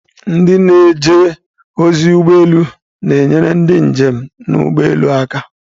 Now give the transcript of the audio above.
Ndị na-eje ozi ụgbọ elu na-enyere ndị njem n'ụgbọelu aka